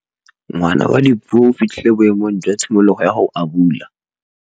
Ngwana wa Dipuo o fitlhile boêmô jwa tshimologô ya go abula.